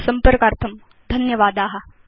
संपर्कार्थं धन्यवादा